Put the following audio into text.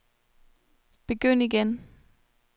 begynd igen